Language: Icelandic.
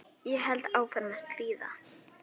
Ég held áfram að stríða.